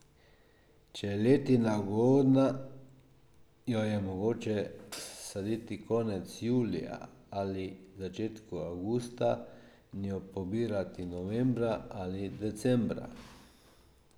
Če je letina ugodna, jo je mogoče saditi konec julija ali začetku avgusta in jo pobirati novembra ali decembra.